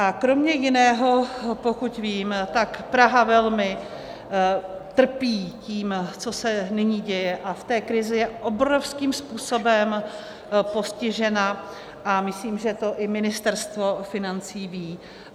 A kromě jiného, pokud vím, tak Praha velmi trpí tím, co se nyní děje, a v té krizi je obrovským způsobem postižena a myslím, že to i Ministerstvo financí ví.